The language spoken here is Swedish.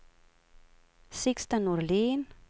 Sixten Norlin